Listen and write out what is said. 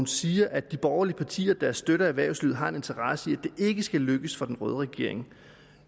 siger at de borgerlige partier der støtter erhvervslivet har en interesse i det ikke skal lykkes for den røde regering